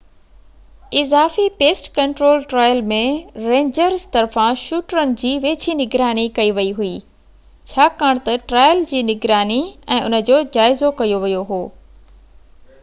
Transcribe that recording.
اضافي pest control trial ۾ rangers طرفان شوٽرن جي ويجهي نگراني ڪئي ويئي هئي ڇاڪاڻ تہ ٽرائل جي نگراني ۽ ان جو جائزو ڪيو ويو هو